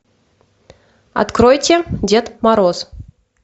откройте дед мороз